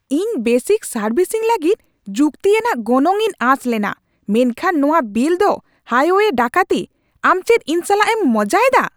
ᱤᱧ basic servicing ᱞᱟᱹᱜᱤᱫ ᱡᱩᱠᱛᱤᱭᱟᱱᱟᱜ ᱜᱚᱱᱚᱝ ᱤᱧ ᱟᱥ ᱞᱮᱱᱟ, ᱢᱮᱱᱠᱷᱟᱱ ᱱᱚᱶᱟ ᱵᱤᱞ ᱫᱚ ᱦᱟᱭᱣᱭᱮ ᱰᱟᱹᱠᱟᱹᱛᱤ ! ᱟᱢ ᱪᱮᱫ ᱤᱧ ᱥᱟᱞᱟᱜ ᱮᱢ ᱢᱚᱡᱟᱭᱫᱟ ?